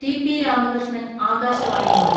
T. P Ramakrishnan ആകാശവാണിയോട്..